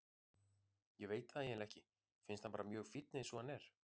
Ég veit það eiginlega ekki, finnst hann bara mjög fínn eins og hann er.